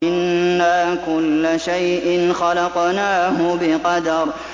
إِنَّا كُلَّ شَيْءٍ خَلَقْنَاهُ بِقَدَرٍ